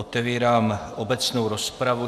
Otevírám obecnou rozpravu.